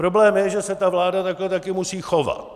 Problém je, že se ta vláda takhle taky musí chovat.